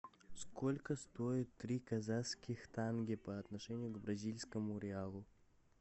сколько стоит три казахских тенге по отношению к бразильскому реалу